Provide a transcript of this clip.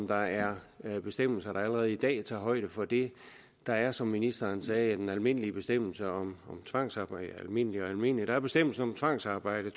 der er er bestemmelser der allerede i dag tager højde for det der er som ministeren sagde den almindelige bestemmelse om tvangsarbejde almindelige og almindelige nej der er bestemmelsen om tvangsarbejde